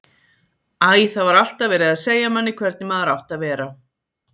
Æ, það var alltaf verið að segja manni hvernig maður átti að vera.